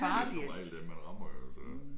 Det er som regel dem man rammer jo så